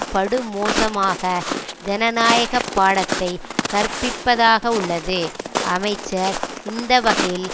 படுமோசமாக ஜனநாயக பாடத்தை கற்பிப்பதாக உள்ளது அமைச்சர் இந்தவகையில்